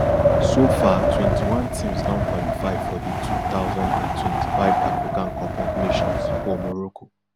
so far twenty-one teams don qualify for di two thousand and twenty-five african cup of nations for morocco